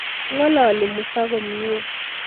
Ngalali Musa komnye